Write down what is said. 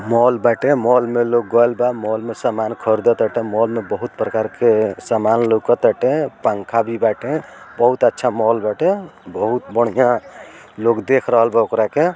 Mall बाटे माल में लोग गइल बा मॉल में लोग सामान ख़रीदत टाते मॉल में बहुत प्रकार के सामान लौकत टाते पंखा भी बाटे बहुत अच्छा मॉल बाटे बहुत बढ़िया लोग देख रहल बा ओकरा के।